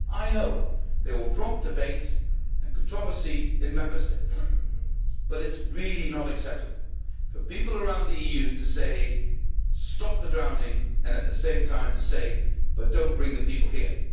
I know they will prompt debate and controversy in Member States, but it is really not acceptable for people around the EU to say stop the drowning', and at the same time, to say but do not bring the people here'.